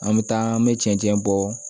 An bɛ taa an bɛ cɛncɛn bɔ